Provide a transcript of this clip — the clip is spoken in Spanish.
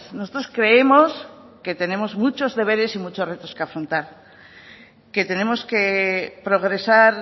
nosotros creemos que tenemos muchos deberes y muchos retos que afrontar que tenemos que progresar